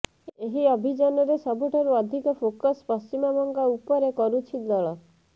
ଏହି ଅଭିଯାନରେ ସବୁଠାରୁ ଅଧିକ ଫୋକସ ପଶ୍ଚିମବଙ୍ଗ ଉପରେ କରୁଛି ଦଳ